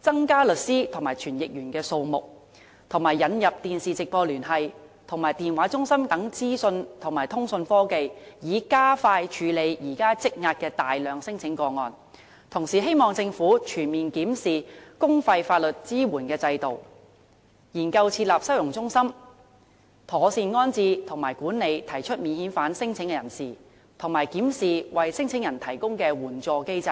增加律師和傳譯員數目，以及引入電視直播聯繫及電話中心等資訊及通訊科技，以加快處理現時積壓的大量聲請個案；同時，也希望政府全面檢視公費法律支援的制度、研究設立收容中心、妥善安置和管理提出免遣返聲請的人士，並檢視為申請人提供的援助機制。